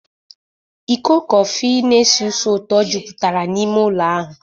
Iko kọfị na-esi ísì ụtọ jupụtara n'ime ụlọ ahụ.